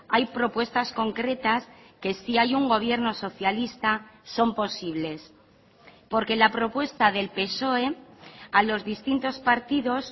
hay propuestas concretas que si hay un gobierno socialista son posibles porque la propuesta del psoe a los distintos partidos